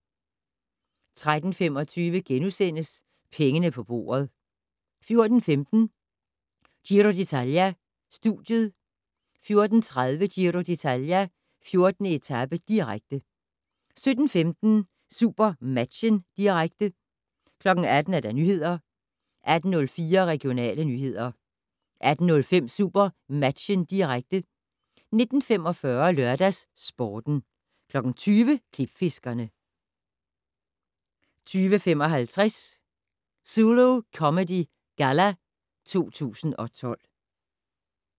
13:25: Pengene på bordet * 14:15: Giro d'Italia: Studiet 14:30: Giro d'Italia: 14. etape, direkte 17:15: SuperMatchen, direkte 18:00: Nyhederne 18:04: Regionale nyheder 18:05: SuperMatchen, direkte 19:45: LørdagsSporten 20:00: Klipfiskerne 20:55: Zulu Comedy Galla 2012